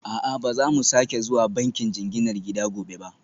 A'a, ba za mu sake zuwa bankin jinginar gida gobe ba